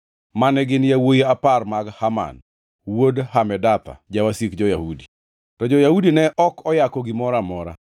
mane gin yawuowi apar mag Haman wuod Hamedatha, jawasik jo-Yahudi. To jo-Yahudi ne ok oyako gimoro amora.